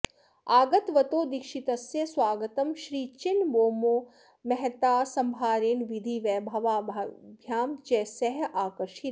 आगतवतो दीक्षितस्य स्वागतं श्रीचिन्नबोम्मो महता सम्भारेण विधिवैभवाभ्यां च सहाकार्षीत्